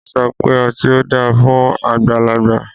Wọn sọ pe ọti o da fun agbalagba